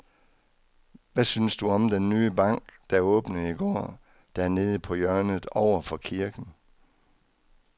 Hvad synes du om den nye bank, der åbnede i går dernede på hjørnet over for kirken?